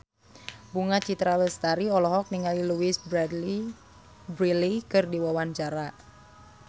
Bunga Citra Lestari olohok ningali Louise Brealey keur diwawancara